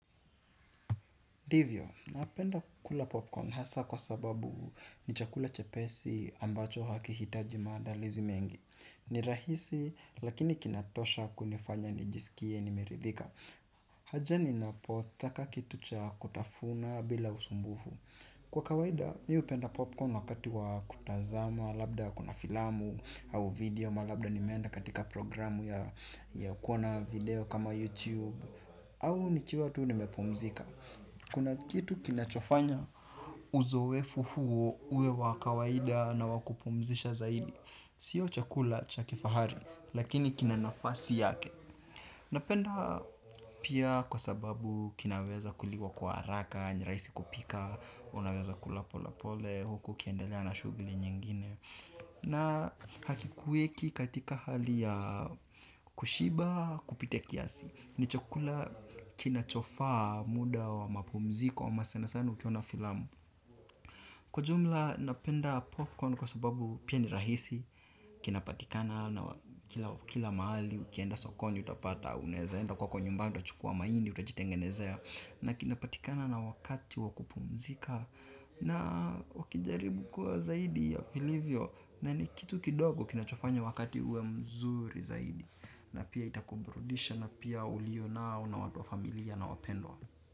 Ndivyo, napenda kula popcorn hasa kwa sababu ni chakula chepesi ambacho hakihitaji maandalizi mengi. Ni rahisi lakini kinatosha kunifanya nijisikie nimeridhika. Haja ninapotaka kitu cha kutafuna bila usumbufu. Kwa kawaida, mi upenda popcorn wakati wa kutazama labda kuna filamu au video ama labda nimeenda katika programu ya kuona video kama youTube. Au nikiwa tu nimepumzika. Kuna kitu kinachofanya uzowefu huo uwe wa kawaida na wa kupumzisha zaidi. Sio chakula cha kifahari lakini kina nafasi yake. Napenda pia kwa sababu kinaweza kuliwa kwa haraka, ni raisi kupika, unaweza kula polepole, huku ukiendelea na shugli nyingine. Na hakikuweki katika hali ya kushiba kupita kiasi. Ni chakula kinachofaa muda wa mapumziko ama sanasana ukiona filamu. Kwa jumla, napenda popcorn kwa sababu pia ni rahisi, kinapatikana na kila maali, ukienda sokoni, utapata, unaeza enda kwako nyumbani, utachukua maindi, utajitengenezea, na kinapatikana na wakati wa kupumzika, na wakijaribu kuwa zaidi ya vilivyo, na ni kitu kidogo kinachofanya wakati uwe mzuri zaidi, na pia itakubrudisha, na pia ulionao na watu wa familia na wapendwa.